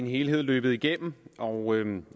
helhed løbet igennem og